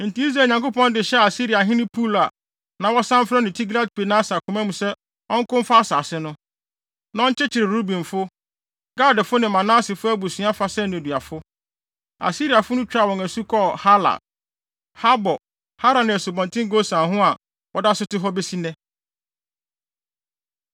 Enti Israel Nyankopɔn de hyɛɛ Asiriahene Pul (a na wɔsan frɛ no Tilgat-Pilneser) koma mu sɛ ɔnko mfa asase no, na ɔnkyekyere Rubenfo, Gadfo ne Manasefo abusua fa sɛ nneduafo. Asiriafo no twaa wɔn asu kɔɔ Halah, Habor, Hara ne Asubɔnten Gosan ho a wɔda so te hɔ besi nnɛ.